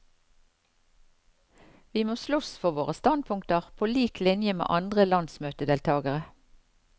Vi må slåss for våre standpunkter på lik linje med andre landsmøtedeltagere.